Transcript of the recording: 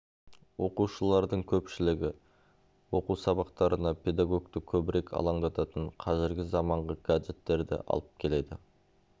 оқушылардың көпшілігі оқу сабақтарына педагогты көбірек алаңдататын қазіргі заманғы гаджеттерді алып келеді